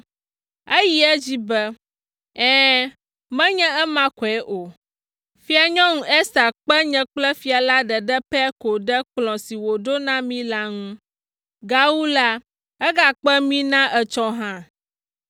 Eyi edzi be, “Ɛ̃, menye ema koe o; Fianyɔnu Ester kpe nye kple fia la ɖeɖe pɛ ko ɖe kplɔ̃ si wòɖo na mí la ŋu. Gawu la, egakpe mí na etsɔ hã!